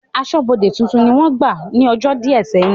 Aṣọ́bọdè tuntun ni wọ́n gbà ní ọjọ́ díẹ̀ sẹ́yìn